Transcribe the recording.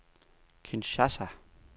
Kinshasa